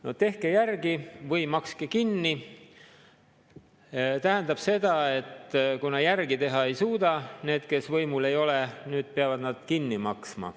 No "tehke järgi või makske kinni" tähendab seda, et kuna järele teha ei suuda need, kes võimul ei ole, peavad nad nüüd kinni maksma.